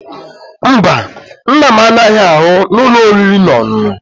Mba, Nna m anaghi aru n'ulo oriri na onunu